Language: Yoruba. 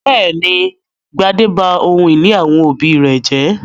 Bẹ́ẹ̀ ni, Gbadé ba ohun-ìní àwọn òbí rẹ̀ jẹ́.